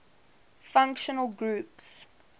functional groups